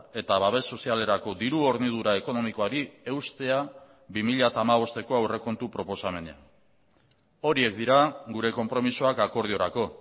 eta babes sozialerako diru hornidura ekonomikoari eustea bi mila hamabosteko aurrekontu proposamenean horiek dira gure konpromisoak akordiorako